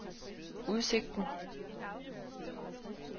udsigten